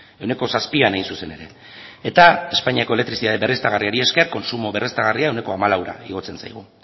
ehuneko zazpian hain zuzen ere eta espainiako elektrizitate berriztagarriari esker kontsumo berriztagarria ehuneko hamalaura igotzen zaigu